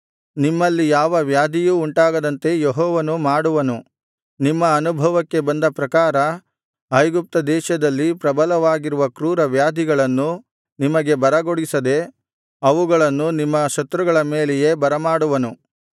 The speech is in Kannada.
ನಿಮ್ಮಲ್ಲಿ ಯಾವ ವ್ಯಾಧಿಯೂ ಉಂಟಾಗದಂತೆ ಯೆಹೋವನು ಮಾಡುವನು ನಿಮ್ಮ ಅನುಭವಕ್ಕೆ ಬಂದ ಪ್ರಕಾರ ಐಗುಪ್ತದೇಶದಲ್ಲಿ ಪ್ರಬಲವಾಗಿರುವ ಕ್ರೂರವ್ಯಾಧಿಗಳನ್ನು ನಿಮಗೆ ಬರಗೊಡಿಸದೆ ಅವುಗಳನ್ನು ನಿಮ್ಮ ಶತ್ರುಗಳ ಮೇಲೆಯೇ ಬರಮಾಡುವನು